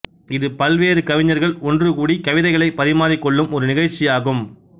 இது பல்வேறு கவிஞர்கள் ஒன்று கூடி கவிதைகளை பரிமாறிக்கொள்ளும் ஒரு நிகழ்ச்சியாகும்